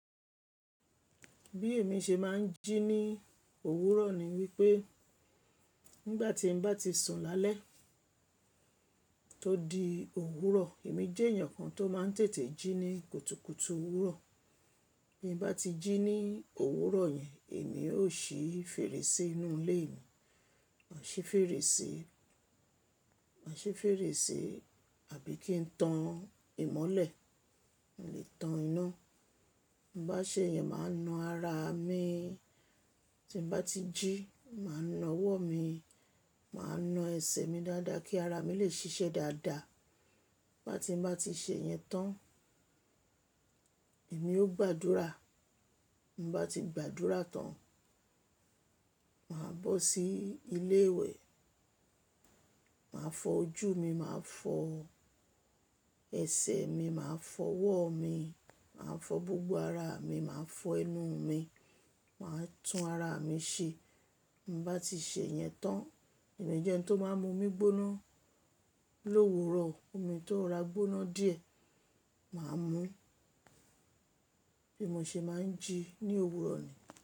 Bí èmi ṣe máa ń jí ní òwúrọ̀ ni wípé nígbà tí n bá ti sùn lálẹ́ tó di òwúrọ̀, èmi jẹ́ ènìyàn kan tó máa ń tètè jí ní kùtùkùtù òwúrọ̀. Bí mo bá ti jí ní òwúrọ̀ yẹn, èmi ó ṣi fèrèsé inú ilé mi, ma si fèrèsé, ma si fèrèsé àbí kí n tan ìmọ́lẹ̀, mo lè tan iná. Bá ṣe yẹn, màá na ara mi. Tí mo bá ti jí, màá na ọwọ́ mi, màá na ẹsẹ̀ mi dáadáa kí ara mi lè ṣiṣẹ́ dáadáa. Bá ti, bá ti ṣe yẹn tán, èmi ó gbàdúrà. Mo bá ti gbàdúrà tán, màá bọ́ sí ilé ìwẹ̀, màá fọ ojú mi, màá fọ ẹsẹ̀ mi, màá fọ ọwọ́ mi, màá fọ gbogbo ara mi, màá fọ ẹnu mi, màá tún ara mi ṣe. Mo bá ti ṣe yẹn tán, mo de je ẹni tó máa ń mu omi gbóná lówúrọ̀. Omi tó ra gbóná díẹ̀, màá mú. Bí mo ṣe máa ń jí ní òwúrọ̀ ni.